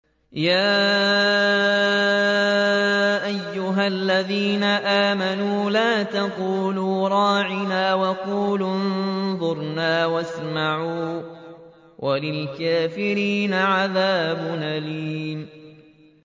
يَا أَيُّهَا الَّذِينَ آمَنُوا لَا تَقُولُوا رَاعِنَا وَقُولُوا انظُرْنَا وَاسْمَعُوا ۗ وَلِلْكَافِرِينَ عَذَابٌ أَلِيمٌ